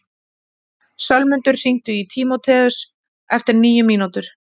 Sölmundur, hringdu í Tímótheus eftir níu mínútur.